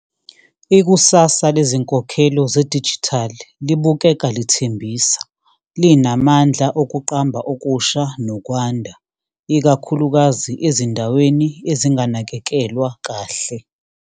Ikusasa lezinkokhelo zedijithali libukeka lithembisa, linamandla okuqamba okusha nokwanda, ikakhulukazi ezindaweni ezinganakekelwa kahle.